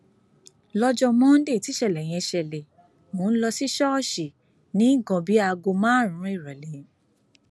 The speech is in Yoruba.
lọjọ monde tíṣẹlẹ yẹn ṣẹlẹ mò ń lọ sí ṣọọṣì ní nǹkan bíi aago márùnún ìrọlẹ